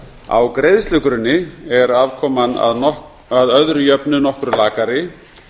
á greiðslugrunni er afkoman að öðru jöfnu nokkru lakari